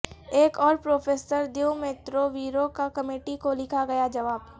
ایک اور professor Dumitru Viru کا کمیٹی کو لکھا گیا جواب